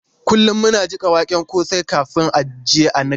Kullum muna jiƙa waken kosai kafin a je a niƙa.